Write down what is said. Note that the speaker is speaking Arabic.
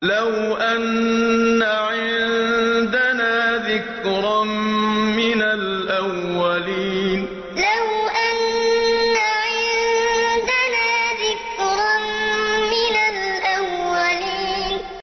لَوْ أَنَّ عِندَنَا ذِكْرًا مِّنَ الْأَوَّلِينَ لَوْ أَنَّ عِندَنَا ذِكْرًا مِّنَ الْأَوَّلِينَ